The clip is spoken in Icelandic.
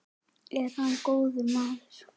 Er hann góður maður?